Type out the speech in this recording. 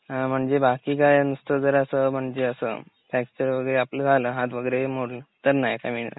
अ बाकी काय नुसतं जर असं म्हणजे असं फ्रॅक्चरं वगैरे आपल झालं, हाथ वगैरे हि आपला मोडला तर नाही का मिळणार?